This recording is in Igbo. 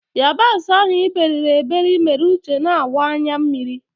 yabasị ahụ iberiri eberi mere uche na-akwa anya mmiri.